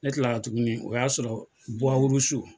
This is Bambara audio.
Ne kilala tugunni o y'a sɔrɔ